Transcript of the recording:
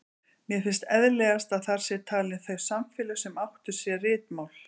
Mér finnst eðlilegast að þar séu talin þau samfélög sem áttu sér ritmál.